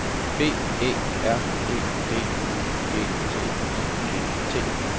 B Æ R E D Y G T I G T